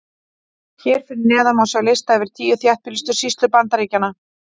Hér fyrir neðan má sjá lista yfir tíu þéttbýlustu sýslur Bandaríkjanna.